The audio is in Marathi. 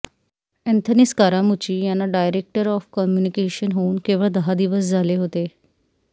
अॅंथनी स्कारामुच्ची यांना डायरेक्टर ऑफ कम्युनिकेशन्स होऊन केवळ दहा दिवस झाले होते